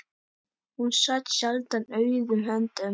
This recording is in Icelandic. Hún sat sjaldan auðum höndum.